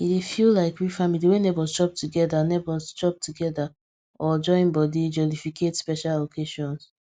e dey feel like real family wen neighbours chop together neighbours chop together or join body jollificate special occations